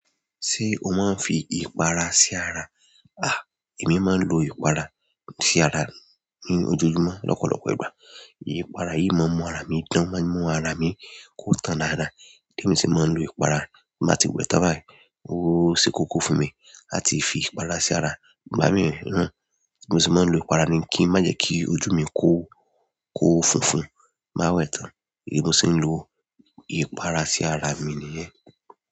Ṣé o máa ń fi ìpara sí ara? Ah èmi máa ń lo ìpara sí ara ní ojoojúmọ́ lọ́pọ̀lọpọ̀ ìgbà. Ipara yìí maa n mu ara mi dan o maa n mu ara mi ko tan dada èmi sì máa ń lo ìpara, bí mo bá ti wẹ tàn bayi ó ṣekoko fún mi làti fi ìpara sí ara, ìgbà mí náà. Mo sì máa ń lo ìpara ni kí má jẹ́ kí ojú mi kó, kó funfun, tin ba wẹ tàn. Èmi ṣe ń lo ìpara sí ara mi nìyẹn.